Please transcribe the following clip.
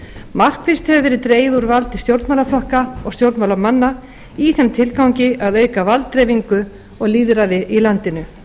markvisst hefur verið dregið úr valdi stjórnmálaflokka og stjórnmálamanna í þeim tilgangi að auka valddreifingu og lýðræði í landinu